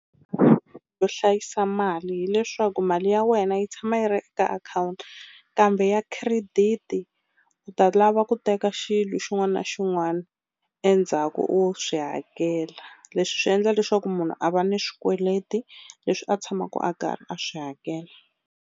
Yo hlayisa mali hileswaku mali ya wena yi tshama yi ri eka akhawunti kambe ya credit u ta lava ku teka xilo xin'wana na xin'wana endzhaku u swi hakela. Leswi swi endla leswaku munhu a va ni swikweleti leswi a tshamaka a karhi a swi hakela.